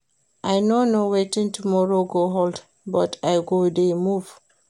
I no know wetin tomorrow go hold but I go dey move